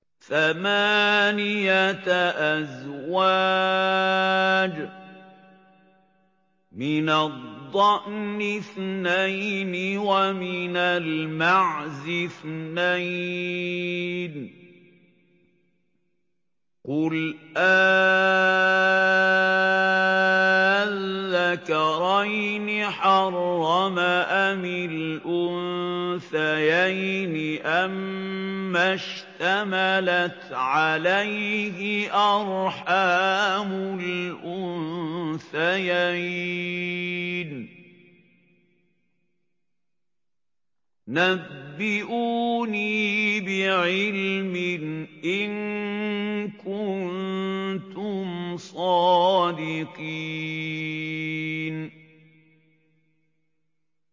ثَمَانِيَةَ أَزْوَاجٍ ۖ مِّنَ الضَّأْنِ اثْنَيْنِ وَمِنَ الْمَعْزِ اثْنَيْنِ ۗ قُلْ آلذَّكَرَيْنِ حَرَّمَ أَمِ الْأُنثَيَيْنِ أَمَّا اشْتَمَلَتْ عَلَيْهِ أَرْحَامُ الْأُنثَيَيْنِ ۖ نَبِّئُونِي بِعِلْمٍ إِن كُنتُمْ صَادِقِينَ